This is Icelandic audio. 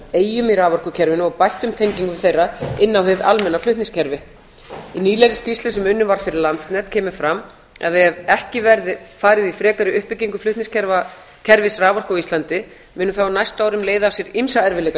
eyjum í raforkukerfinu og bættum tengingum þeirra inn á hið almenna flutningskerfi í nýlegri skýrslu sem unnin var fyrir landsnet kemur fram að ef ekki verði farið í frekari uppbyggingu flutningskerfis raforku á íslandi muni það á næstu árum leiða af sér ýmsa erfiðleika